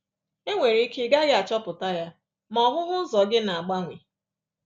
E nwere ike ị gaghị achọpụta ya, ma ọhụhụ ụzọ gị na-agbanwe